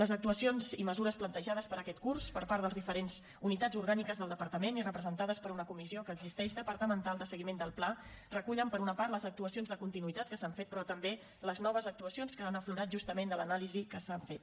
les actuacions i mesures plantejades per a aquest curs per part de les diferents unitats orgàniques del departament i representades per una comissió que existeix departamental de seguiment del pla recullen per una part les actuacions de continuïtat que s’han fet però també les noves actuacions que han aflorat justament de l’anàlisi que s’ha fet